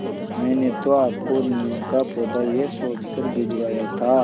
मैंने तो आपको नीम का पौधा यह सोचकर भिजवाया था